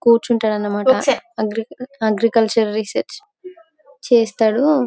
కూర్చుంటాడన్నమాట agriculture research చేస్తాడు.